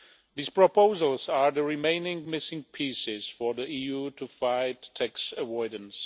These proposals are the remaining missing pieces for the EU to fight tax avoidance.